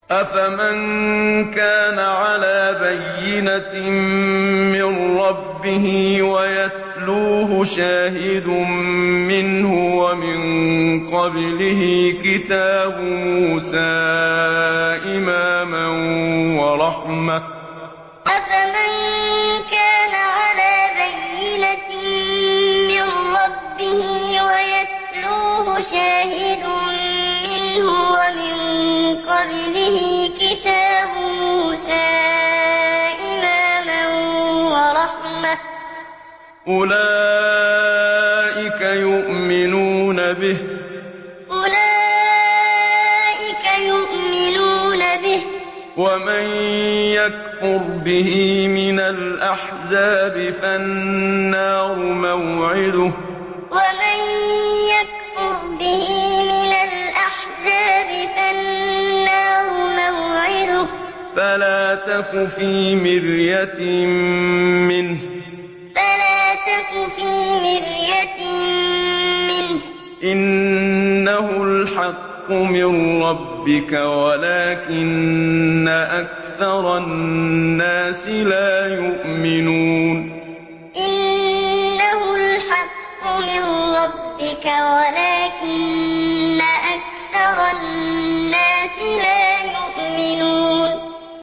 أَفَمَن كَانَ عَلَىٰ بَيِّنَةٍ مِّن رَّبِّهِ وَيَتْلُوهُ شَاهِدٌ مِّنْهُ وَمِن قَبْلِهِ كِتَابُ مُوسَىٰ إِمَامًا وَرَحْمَةً ۚ أُولَٰئِكَ يُؤْمِنُونَ بِهِ ۚ وَمَن يَكْفُرْ بِهِ مِنَ الْأَحْزَابِ فَالنَّارُ مَوْعِدُهُ ۚ فَلَا تَكُ فِي مِرْيَةٍ مِّنْهُ ۚ إِنَّهُ الْحَقُّ مِن رَّبِّكَ وَلَٰكِنَّ أَكْثَرَ النَّاسِ لَا يُؤْمِنُونَ أَفَمَن كَانَ عَلَىٰ بَيِّنَةٍ مِّن رَّبِّهِ وَيَتْلُوهُ شَاهِدٌ مِّنْهُ وَمِن قَبْلِهِ كِتَابُ مُوسَىٰ إِمَامًا وَرَحْمَةً ۚ أُولَٰئِكَ يُؤْمِنُونَ بِهِ ۚ وَمَن يَكْفُرْ بِهِ مِنَ الْأَحْزَابِ فَالنَّارُ مَوْعِدُهُ ۚ فَلَا تَكُ فِي مِرْيَةٍ مِّنْهُ ۚ إِنَّهُ الْحَقُّ مِن رَّبِّكَ وَلَٰكِنَّ أَكْثَرَ النَّاسِ لَا يُؤْمِنُونَ